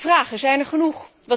Vragen zijn er genoeg.